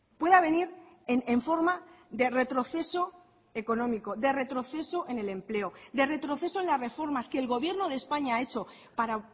pueda venir en forma de retroceso económico de retroceso en el empleo de retroceso en las reformas que el gobierno de españa ha hecho para